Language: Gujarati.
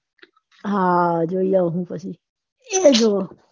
હા જોઈ આવહુ પછી